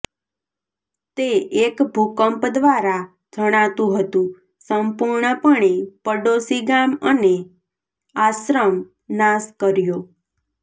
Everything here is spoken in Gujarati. તે એક ભૂકંપ દ્વારા જણાતું હતું સંપૂર્ણપણે પડોશી ગામ અને આશ્રમ નાશ કર્યો